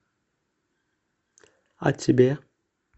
а тебе